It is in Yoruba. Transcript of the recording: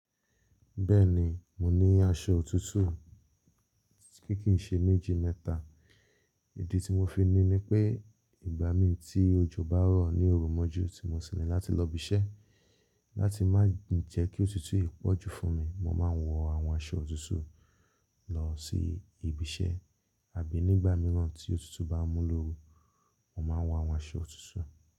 Bẹ́ẹ̀ni, mo ni aṣọ òtútù ti kíì ṣe méjì mẹ́ta. Èdè tí mo fi ní ni pé ìgbà mi tí òjò bá rọ̀ ní òru mọ́jú tí mo sì rìn láti lọ ibi iṣẹ́. Láti má jẹ́ kí òtútù ìpọ́jù fún mi, mo máa ń wọ àwọn aṣọ òtútù lọ sí ibi iṣẹ́ àbí nígbà mìíràn tí òtútù bá mú lóru, mo máa ń wọ àwọn aṣọ òtútù.